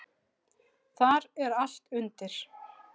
Þar er allt undir.